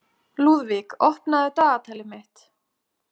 Lúðvíka, opnaðu dagatalið mitt.